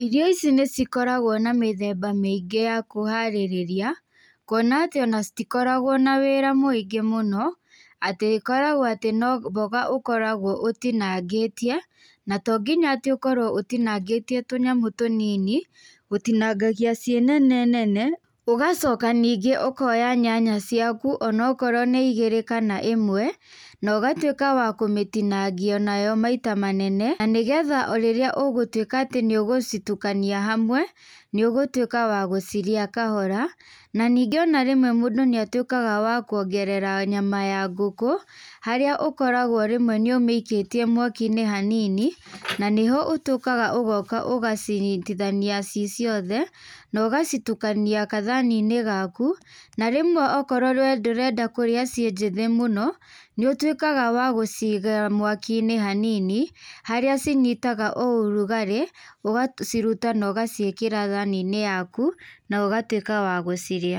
Irio ici nĩ cikoragwo na mĩthemba mĩingĩ ya kũharĩrĩria, kuona atĩ ona citikoragwo na wĩra mũingĩ mũno, atĩ ĩkoragwo atĩ no mboga ũkoragwo ũtinangĩtie, na to nginya atĩ ũkorwo utinangĩkĩtie tũnyamũ tũnini. Ũtinangagia ciĩ nene nene ũgacoka níngĩ ũkoya nyanya ciaku ona okorwo nĩ igiri kana ĩmwe, na ugatuĩka wa kũmĩtinangia nayo maita manene na nĩgetha o rirĩa ũgũtuĩka atĩ nĩ ũgũcitukania hamwe, nĩ ũgũtuĩka wa gũcirĩa kahora. Na ningĩ ona rĩmwe mũndũ nĩatuĩkaga wa kuongerea nyama ya ngũkũ. Harĩa ũkaragwo rĩmwe nĩumĩikĩtie mwaki-inĩ hanini. Na nĩho ũtuĩkaga ũgoka ũgacinyitithania ciĩ ciothe, na ũgacitukania gathani-inĩ gaku. Na rĩmwe akorwo we ndũrenda kũria ciĩ njĩthĩ mũno, nĩ ũtuĩkaga wa gũciga mwaki-inĩ hanini harĩa cinyitaga o ũrugarĩ. Ũgaciruta na ũgaciĩkĩra thani-inĩ yaku na ũgatuĩka wa gũcirĩa.